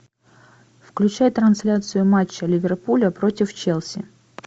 включай трансляцию матча ливерпуля против челси